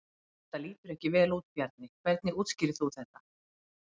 Þetta lítur ekki vel út Bjarni, hvernig útskýrir þú þetta?